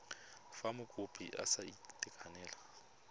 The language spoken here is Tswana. fa mokopi a sa itekanela